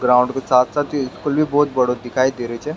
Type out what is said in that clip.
Ground के साथ साथ ये स्कूल भी बहोत बड़ो दिखाई दे रेहो छे।